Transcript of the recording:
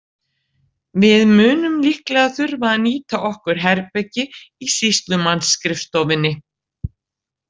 Við munum líklega þurfa að nýta okkur herbergi í sýslumannsskrifstofunni.